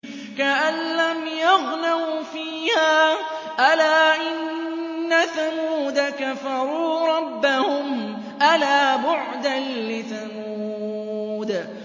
كَأَن لَّمْ يَغْنَوْا فِيهَا ۗ أَلَا إِنَّ ثَمُودَ كَفَرُوا رَبَّهُمْ ۗ أَلَا بُعْدًا لِّثَمُودَ